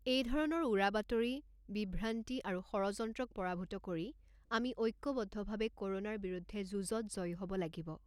এইধৰণৰ উৰা বাতৰি, বিভ্ৰান্তি আৰু ষড়যন্ত্ৰক পৰাভূত কৰি আমি ঐক্যবদ্ধভাৱে ক'ৰোনাৰ বিৰুদ্ধে যুঁজত জয়ী হ’ব লাগিব।